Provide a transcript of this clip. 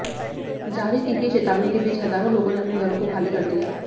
जारी की गई चेतावनी के बीच हजारों लोगों ने अपने घरों को खाली कर दिया